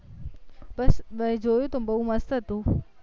બસ જોયું હતું ને બૌ મસ્ત હતું